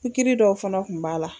Pikiri dɔw fɛnɛ kun b'a la